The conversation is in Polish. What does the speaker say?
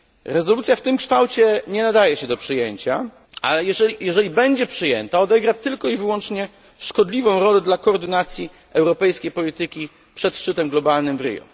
Rezolucja w tym kształcie nie nadaje się do przyjęcia, ale jeżeli będzie przyjęta, odegra tylko i wyłącznie szkodliwą rolę dla koordynacji europejskiej polityki przed szczytem globalnym w Rio.